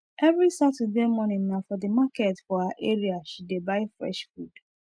every saturday morning na for the market for her area she dey buy fresh food